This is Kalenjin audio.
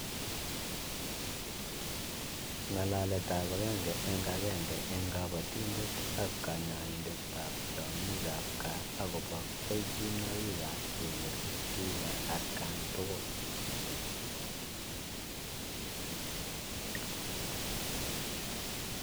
Ngalaletab agenge eng agenge eng kabatindet ak kanyaindetab tiongikab gaa akobo kelchinoikab kekere tuga atkan tugul.